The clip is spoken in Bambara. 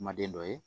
Kumaden dɔ ye